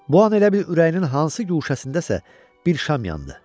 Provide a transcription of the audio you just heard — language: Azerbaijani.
Bu an elə bil ürəyinin hansı guşəsindəsə bir şam yandı.